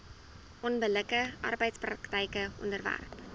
onbillike arbeidspraktyke onderwerp